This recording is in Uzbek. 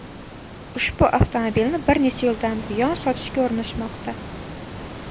Ushbu avtomobilni bir necha yildan buyon sotishga urinishmoqda.